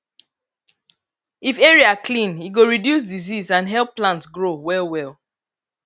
if area clean e go reduce disease and help plant grow well well